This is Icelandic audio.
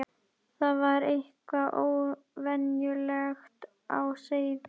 Það var eitthvað óvenjulegt á seyði.